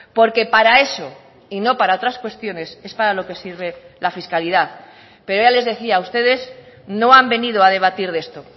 porque para eso y no para otras cuestiones es para lo que sirve la fiscalidad pero ya les decía ustedes no han venido a debatir de esto